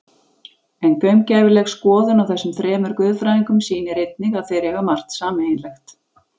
En gaumgæfileg skoðun á þessum þremur guðfræðingum sýnir einnig að þeir eiga margt sameiginlegt.